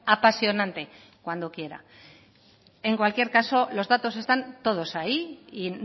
apasionante cuando quiera en cualquier caso los datos están todos ahí y